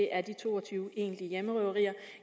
er de to og tyve egentlige hjemmerøverier